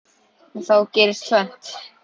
En þá gerist tvennt.